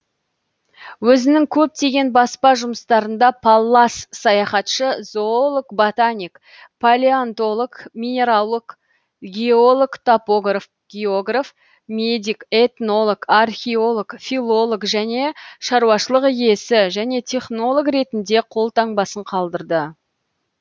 өзінің көптеген баспа жұмыстарында паллас саяхатшы зоолог ботаник палеонтолог минералог геолог топограф географ медик этнолог археолог филолог және шаруашылық иесі және технолог ретінде қолтаңбасын қалдырды